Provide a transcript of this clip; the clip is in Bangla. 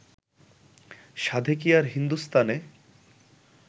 সাধে কি আর হিন্দুস্থানে